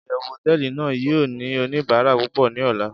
iyewu hoteeli nàá yio ni onibara pupo ni ola